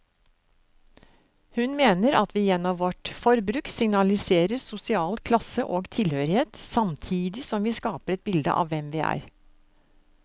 Hun mener at vi gjennom vårt forbruk signaliserer sosial klasse og tilhørighet, samtidig som vi skaper et bilde av hvem vi er.